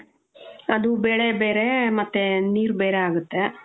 ಅದು ಬೇಳೆ ಬೇರೆ ಮತ್ತೆ ನೀರ್ ಬೇರೆ ಆಗತ್ತೆ.